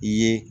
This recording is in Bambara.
I ye